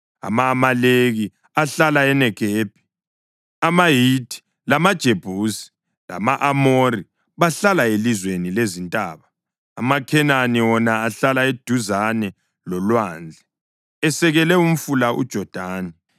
Ama-Amaleki ahlala eNegebi; amaHithi, lamaJebusi lama-Amori bahlala elizweni lezintaba, amaKhenani wona ahlala eduzane lolwandle esekele umfula uJodani.”